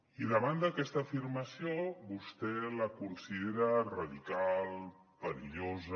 i davant d’aquesta afirmació vostè la considera radical perillosa